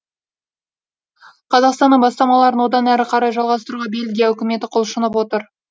қазақстанның бастамаларын одан әрі қарай жалғастыруға бельгия үкіметі құлшынып отыр